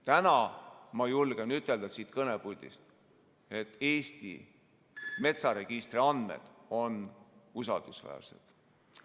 Täna ma julgen ütelda siit kõnepuldist, et Eesti metsaregistri andmed on usaldusväärsed.